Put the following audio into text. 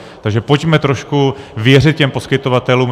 Takže pojďme trošku věřit těm poskytovatelům.